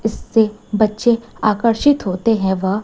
इससे बच्चे आकर्षित होते हैं व--